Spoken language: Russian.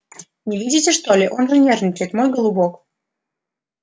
не видите что ли он же нервничает мой голубок